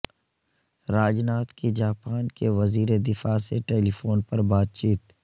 راج ناتھ کی جاپان کے وزیر دفاع سے ٹیلیفون پر بات چیت